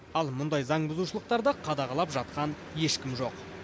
ал мұндай заңбұзушылықтарды қадағалап жатқан ешкім жоқ